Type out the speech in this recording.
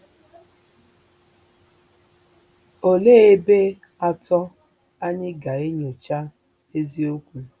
Olee ebe atọ anyị ga-enyocha eziokwu?